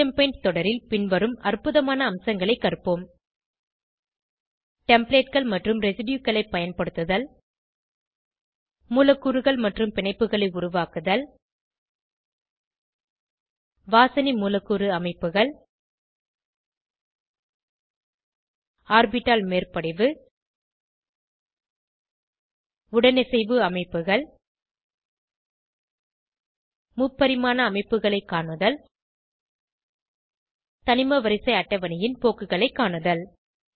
GChemPaint தொடரில் பின்வரும் அற்புதமான அம்சங்களை கற்போம் Templateகள் மற்றும் Residueகளை பயன்படுத்துதல் மூலக்கூறுகள் மற்றும் பிணைப்புகளை உருவாக்குதல் வாசனை மூலக்கூறு அமைப்புகள் ஆர்பிட்டால் மேற்படிவு உடனிசைவு அமைப்புகள் முப்பரிமாண அமைப்புகளை காணுதல் தனிமவரிசை அட்டவணையின் போக்குகளை காணுதல்